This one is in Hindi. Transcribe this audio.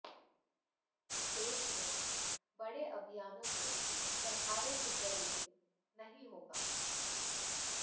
देश में बडे अभियानों को सरकारों के जरिए नहीं होगा